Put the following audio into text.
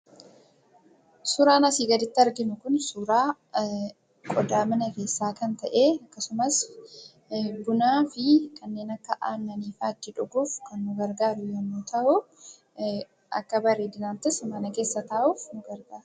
Suraan asii gaditti arginu kun suraa qodaa mana keessaa kan ta'ee akkasumas bunaa fi kanneen akka aannaniifaa itti dhuguuf kan kan nu gargaaru yemmuu ta'uu akka bareedinaattis mana keessa taa'uuf nu gargaara.